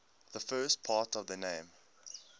the first part of the name